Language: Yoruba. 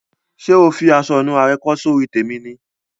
Sé o fi aso ìnura re kó sórí tèmi ni?